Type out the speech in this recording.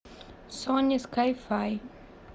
сони скай фай